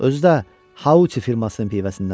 Özü də Hauçi firmasının pivəsindəndir.